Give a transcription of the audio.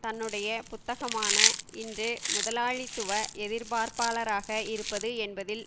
தன்னுடைய புத்தகமான இன்று முதலாளித்துவ எதிர்ப்பாளராக இருப்பது என்பதில்